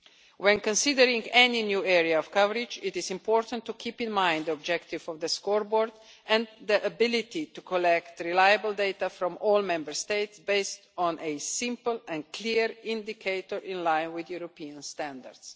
When considering any new area of coverage, it is important to keep in mind the objective of the Scoreboard and the ability to collect reliable data from all Member States, based on a simple and clear indicator in line with European standards.